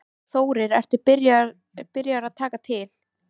Þórir: Ertu byrjaður að taka til?